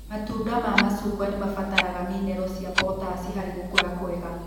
Matunda ma macungwa nĩmabataraga minerũ cia potasi harĩ gũkũra kwega.